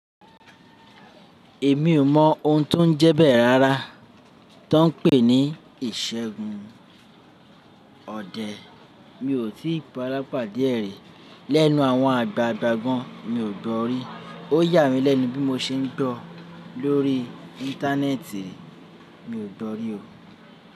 Èmi ò mọ̀ ohun tó ń jẹ bẹ́ẹ̀ rárá, tó ń pè ní ìṣẹ́gun ọdẹ. Mi ò tí ì ba alapade ẹ̀ rí. Lẹ́nu àwọn àgbàgbà gan, mi ò gbọ́rí. Ó yà mí lẹ́nu bí mo ṣe ń gbọ́ lórí íńtánẹ́ẹ̀tì, mi ò gbọ́rí o.